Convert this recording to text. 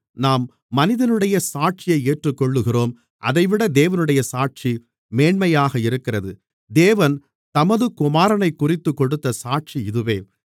நாம் மனிதனுடைய சாட்சியை ஏற்றுக்கொள்கிறோம் அதைவிட தேவனுடைய சாட்சி மேன்மையாக இருக்கிறது தேவன் தமது குமாரனைக்குறித்துக் கொடுத்த சாட்சி இதுவே